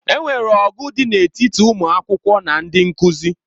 E nwere ọgụ dị n'etiti ụmụ akwụkwọ na ndị nkuzi.